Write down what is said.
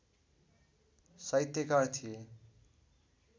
साहित्यकार थिए